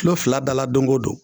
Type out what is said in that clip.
Tulo fila da la dongo don